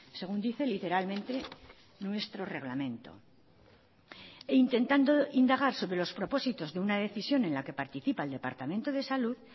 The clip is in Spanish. según dice literalmente nuestro reglamento e intentando indagar sobre los propósitos de una decisión en la que participa el departamento de salud